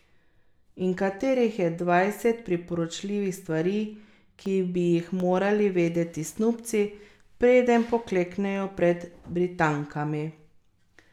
In katerih je dvajset priporočljivih stvari, ki bi jih morali vedeti snubci, preden pokleknejo pred Britankami?